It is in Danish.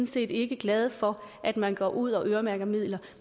set ikke er glade for at man går ud og øremærker midler